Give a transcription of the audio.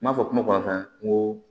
N m'a fɔ kuma kɔnɔna n ko